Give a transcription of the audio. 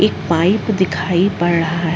एक पाइप दिखाई पड़ रहा है।